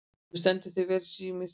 Þú stendur þig vel, Sírnir!